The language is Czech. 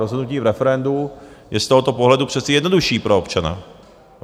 Rozhodnutí v referendu je z tohoto pohledu přece jednodušší pro občana.